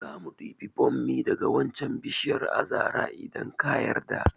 Zamu ɗibi bommi daga wancan bishiyar azara idan ka yarda